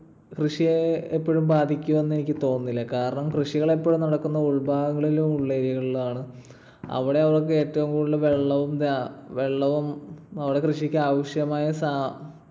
കൃഷിയെ എപ്പഴും ബാധിക്കുമെന്ന് എനിക്ക് തോന്നുന്നില്ല. കാരണം കൃഷികൾ എപ്പഴും നടക്കുന്നത് ഉൾഭാഗങ്ങളിലും ഉൾ area കളിലുമാണ്. അവിടെ അവർക്ക് ഏറ്റവും കൂടുതൽ വെള്ളവും~വെള്ളവും അവിടെ കൃഷിക്കാവശ്യമായ സാ,